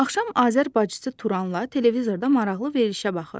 Axşam Azər bacısı Turanla televizorda maraqlı verilişə baxırdı.